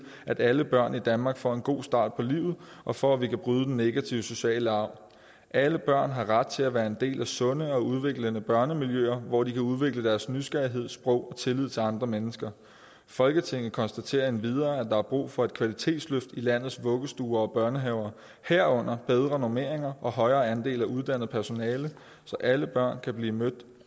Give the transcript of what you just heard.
at alle børn i danmark får en god start på livet og for at vi kan bryde den negative sociale arv alle børn har ret til at være en del af sunde og udviklende børnemiljøer hvor de kan udvikle deres nysgerrighed sprog og tillid til andre mennesker folketinget konstaterer endvidere at der er brug for et kvalitetsløft i landets vuggestuer og børnehaver herunder bedre normeringer og højere andel af uddannet personale så alle børn kan blive mødt